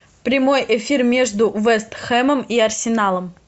прямой эфир между вест хэмом и арсеналом